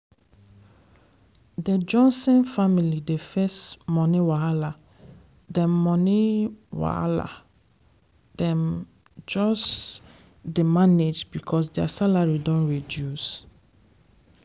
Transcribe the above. dey johnson family dey face money wahala dem money wahala dem just dey manage because their salary don reduce.